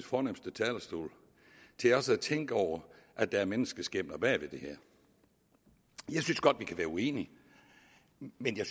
fornemste talerstol tænke over at der er menneskeskæbner bag ved det her jeg synes godt vi kan være uenige men jeg